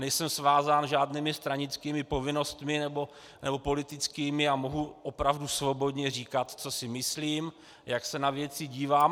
Nejsem svázán žádnými stranickými povinnostmi, nebo politickými, a mohu opravdu svobodně říkat, co si myslím, jak se na věci dívám.